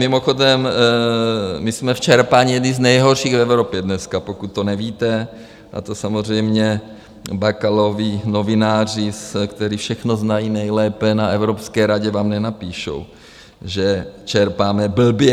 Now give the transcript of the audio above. Mimochodem, my jsme v čerpání jedni z nejhorších v Evropě dneska, pokud to nevíte, a to samozřejmě Bakalovi novináři, kteří všechno znají nejlépe na Evropské radě, vám nenapíšou, že čerpáme blbě.